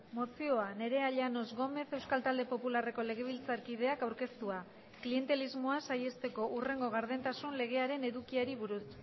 mozioa nerea llanos gómez euskal talde popularreko legebiltzarkideak aurkeztua klientelismoa saihesteko hurrengo gardentasun legearen edukiari buruz